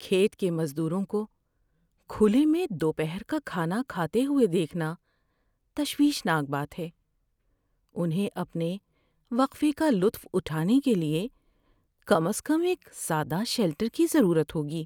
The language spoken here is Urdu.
کھیت کے مزدوروں کو کھلے میں دوپہر کا کھانا کھاتے ہوئے دیکھنا تشویشناک بات ہے۔ انہیں اپنے وقفے کا لطف اٹھانے کے لیے کم از کم ایک سادہ شیلٹر کی ضرورت ہوگی۔